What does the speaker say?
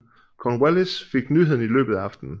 Cornwallis fik nyheden i løbet af aftenen